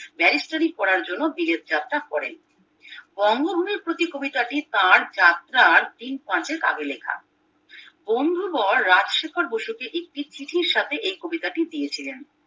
ব্যারিস্টারি পড়ার জন্যে বিলেত যাত্রা করেন বঙ্গভূমির প্রতি কবিতাটি তার যাত্রার দিন পাঁচেক আগে লেখা বন্ধুবর রাজশেখর বসুকে একটি চিঠির সাথে এই কবিতাটি দিয়েছিলেন